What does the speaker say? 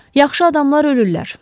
Yaxşı adamlar ölürlər.